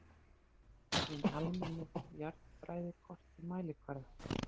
Hin almennu jarðfræðikort í mælikvarða